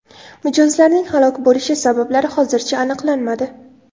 Mijozlarning halok bo‘lish sabablari hozircha aniqlanmadi.